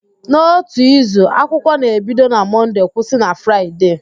N'ótù izu, akwụkwọ na-ebido na Mọnde kwụsị na Fraịde